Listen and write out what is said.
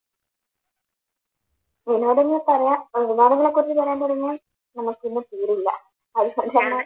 വിനോദങ്ങളെ പറയാൻ വിനോദങ്ങളെ കുറിച്ച് പറയാൻ തുടങ്ങിയാൽ നമുക്കിന്ന് തീരില്ല